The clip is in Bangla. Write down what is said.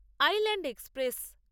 island express